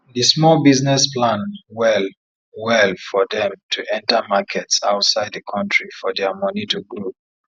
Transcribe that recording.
di small business plan well well for dem to enter markets outside the country for dia money to grow